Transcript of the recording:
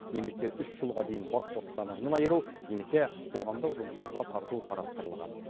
немесе үш жылға дейін бас бостандығынан айыру немесе қоғамдық жұмыстарға тарту қарастырылған